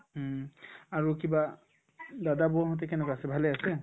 উম, আৰু কিবা দাদা বৌ হঁতে কেনেকুৱা আছে ভালে আছে